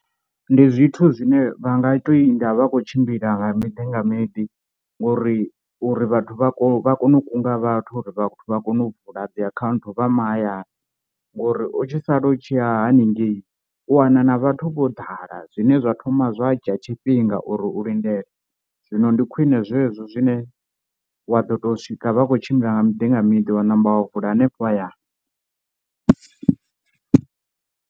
Ndi zwithu zwine vha nga to i vha khou tshimbila nga miḓi nga miḓi uri uri vhathu vha kone vha kone u kunga vhathu uri vha kone u vula dzi akhaunthu vha mahayani, uri u tshi sala u tshi ya haningei u wana na vhathu vho ḓala zwine zwa thoma zwa dzhia tshifhinga uri u lindele. Zwino ndi khwine zwezwo zwine wa ḓo to swika vha khou tshimbila nga miḓi nga miḓi wa namba wa vula hanefho hayani.